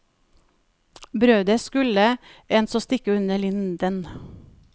Brødet skulle en så stikke under linden.